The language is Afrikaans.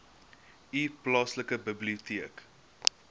u plaaslike biblioteek